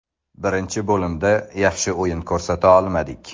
Birinchi bo‘limda yaxshi o‘yin ko‘rsata olmadik.